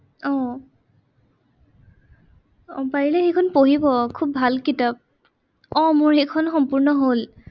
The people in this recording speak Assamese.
আহ পাৰিলে সেইখন পঢ়িব খুব ভাল কিতাপ। আহ মোৰ সেইখন সম্পূৰ্ণ হ'ল।